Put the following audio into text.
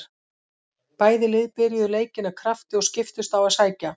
Bæði lið byrjuðu leikinn af krafti og skiptust á að sækja.